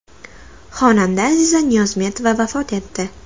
Xonanda Aziza Niyozmetova vafot etdi.